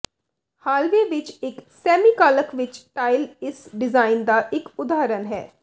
hallway ਵਿੱਚ ਇੱਕ ਸੈਮੀਕਾਲਕ ਵਿੱਚ ਟਾਇਲ ਇਸ ਡਿਜ਼ਾਈਨ ਦਾ ਇੱਕ ਉਦਾਹਰਨ ਹੈ